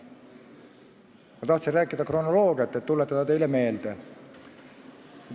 Ma tahtsin rääkida kronoloogiast, tuletada teile seda meelde.